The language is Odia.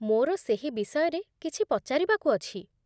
ମୋର ସେହି ବିଷୟରେ କିଛି ପଚାରିବାକୁ ଅଛି